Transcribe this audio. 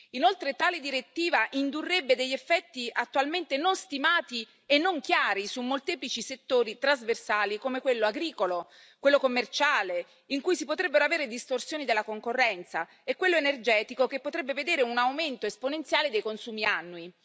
Inoltre, tale direttiva indurrebbe degli effetti attualmente non stimati e non chiari su molteplici settori trasversali come quello agricolo, quello commerciale, in cui si potrebbero avere distorsioni della concorrenza, e quello energetico, che potrebbe vedere un aumento esponenziale dei consumi annui.